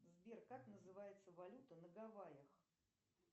сбер как называется валюта на гаваях